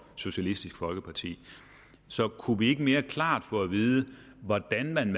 socialistisk folkeparti så kunne vi ikke mere klart få at vide hvordan man